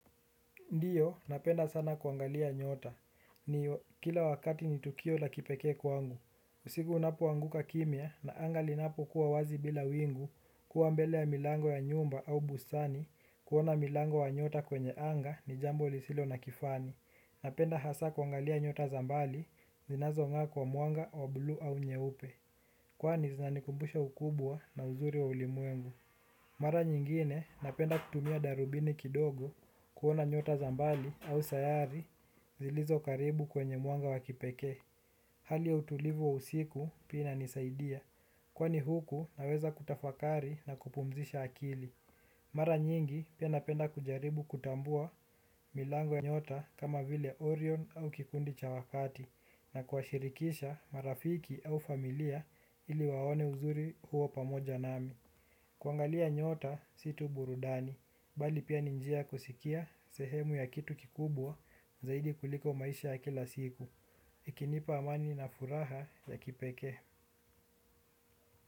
Ndiyo, napenda sana kuangalia nyota. Ni kila wakati ni tukio la kipekee kwangu. Usiku unapoanguka kimya na anga linapokuwa wazi bila wingu kuwa mbele ya milango ya nyumba au bustani kuona milango wa nyota kwenye anga ni jambo lisilo na kifani. Napenda hasa kuangalia nyota za mbali, zinazonga kwa mwanga wa bluu au nyeupe. Kwani zinanikumbusha ukubwa na uzuri wa ulimwengu. Mara nyingine napenda kutumia darubini kidogo kuona nyota za mbali au sayari zilizo karibu kwenye mwanga wa kipekee. Hali ya utulivu wa usiku pia inanisaidia kwani huku naweza kutafakari na kupumzisha akili. Mara nyingi pia napenda kujaribu kutambua milango ya nyota kama vile Orion au kikundi cha wakati na kuwashirikisha marafiki au familia ili waone uzuri huo pamoja nami. Kuangalia nyota, si tu burudani, bali pia ni njia kusikia sehemu ya kitu kikubwa, zaidi kuliko maisha ya kila siku. Ikinipa amani na furaha ya kipekee.